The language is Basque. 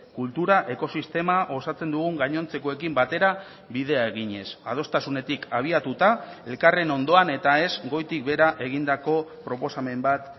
kultura ekosistema osatzen dugun gainontzekoekin batera bidea eginez adostasunetik abiatuta elkarren ondoan eta ez goitik behera egindako proposamen bat